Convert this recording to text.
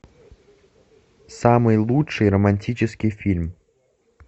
самый лучший романтический фильм